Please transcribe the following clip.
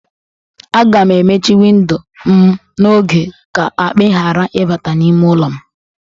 Aga m emechi windo m n'oge ka akpị ghara ịbata n'ime ụlọ m